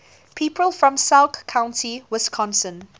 people from sauk county wisconsin